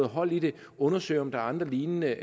hold i det undersøge om der er andre lignende